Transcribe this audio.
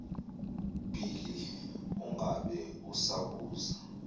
bhili ungabe usabuza